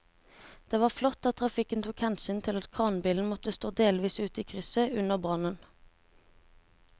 Det var flott at trafikken tok hensyn til at kranbilen måtte stå delvis ute i krysset under brannen.